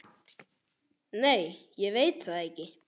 Nei ég veit það ekki.